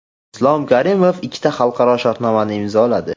Islom Karimov ikkita xalqaro shartnomani imzoladi.